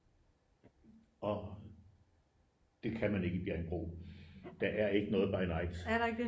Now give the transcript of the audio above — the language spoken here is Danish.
Og det kan man ikke i Bjerringbro der er ikke noget by night